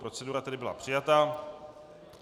Procedura tedy byla přijata.